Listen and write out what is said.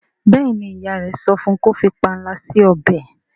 béèni ìyá rẹ sọfún kò fí panla si ọbẹ.